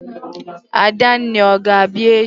Adanne, ọ ga-abịa echi?